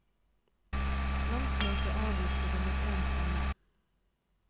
Landsmøte avviste det mot én stemme.